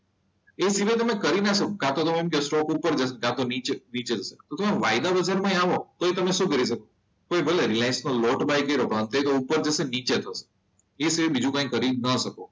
એ જ રીતે તમે તમે કરી ના શકો કાં તો તમે એમ કહેશો કે સ્ટોક ઉપર જશે કાં તો નીચે જશે તો તમે વાયદા વગર આવો તો તમે શું કરી શકો તો ભલે તમે રિલાયન્સમાં લોટ બાય કર્યો પણ તે ઉપર જશે કે નીચે જશે એ સિવાય બીજું કરી ન શકો.